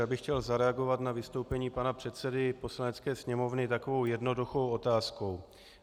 Já bych chtěl zareagovat na vystoupení pana předsedy Poslanecké sněmovny takovou jednoduchou otázkou.